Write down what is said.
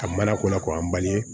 A mana ko la k'an bange